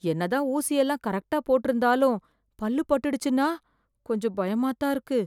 என்னதான் ஊசி எல்லாம் கரெக்டா போட்டு இருந்தாலும் பல்லு பட்டுச்சுன்னா கொஞ்சம் பயமா தான் இருக்கு